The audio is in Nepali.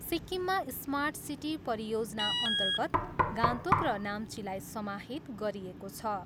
सिक्किममा स्मार्ट सिटी परियोजनाअन्तर्गत गान्तोक र नाम्चीलाई समाहित गरिएको छ।